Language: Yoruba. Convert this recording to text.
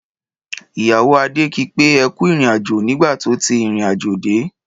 Ìyàwó Ade ki pé ẹ kú ìrìnàjò nígbà tó ti ìrìnàjò dé.